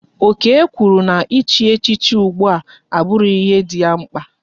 Okey kwụrụ na ị chi echichi ụgbụa abughi ihe dị ya mkpa